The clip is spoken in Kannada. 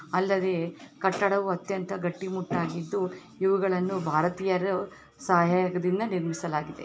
ಅಲ್ಲದೆ ಕಟ್ಟಡವು ಅತ್ಯಂತ ಗಟ್ಟಿ ಮುಟ್ಟಾಗಿದ್ದು ಇವುಗಳನ್ನು ಭಾರತೀಯರ ಸಹಯೋಗದಿಂದ ನಿರ್ಮಿಸಲಾಗಿದೆ.